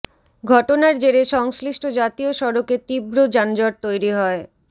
ঘটনার জেরে সংশ্লিষ্ট জাতীয় সড়কে তীব্র যানজট তৈরি হয়